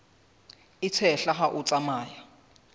e tshehla ha o tsamaya